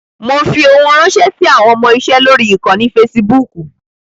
Mo fi ohun ránṣẹ́ sí àwọn ọmọ-iṣe lórí ìkànnì Fasibúùkù.